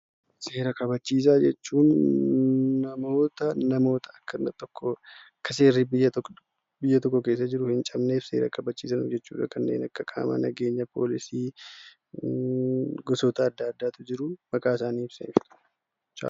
Seera kabachiisaa jechuun nama namoota Akka seerri biyya tokko keessa jiru hin cabne kabachiisu jechuudha. Isaanis kanneen akka poolisii, gosoota adda addaatu jiru.